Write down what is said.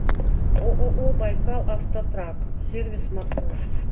ооо байкал автотрак сервис маршрут